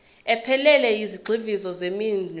ephelele yezigxivizo zeminwe